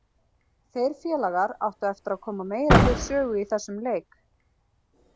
Þeir félagar áttu eftir að koma meira við sögu í þessum leik.